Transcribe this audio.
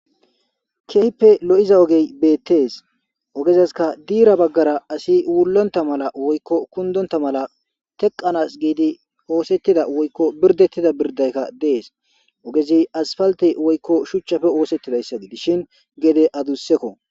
keehhippe lo7iza ogey beettees ogezaska diira baggara asi wullonta mala woykko kundonta mala teqanas giidi oosettida woykko birdettida birdaykka dees ogezi asfaltey woykko shuchchafe oosettidayssa gidishin gede adussekko